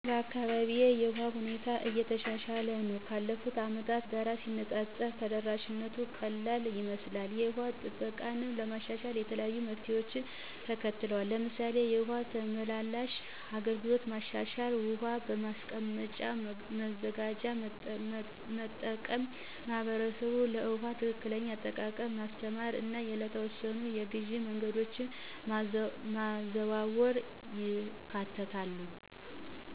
በአካባቢዬ የውሃ ሁኔታ እየተሻሻለ ነው፣ ከባለፉት ዓመታት ጋር ሲነፃፀር ተደራሽነቱ ቀላል ይመስላል። የውሃ ጥበቃን ለማሻሻል የተለያዩ መፍትሄዎች ተከትለዋል፤ ለምሳሌ የውሃ ተመላላሽ አገልግሎትን ማሻሻል፣ ውሃ ማስቀመጫ መዘጋጃ መጠቀም፣ ማኅበረሰቡን ለውሃ ትክክለኛ አጠቃቀም ማስተማር እና የተወሰኑ የግብዣ መንገዶችን ማዘዋወር ይካተታሉ።